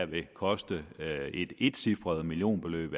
ville koste et etcifret millionbeløb